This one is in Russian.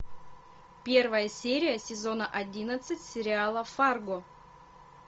первая серия сезона одиннадцать сериала фарго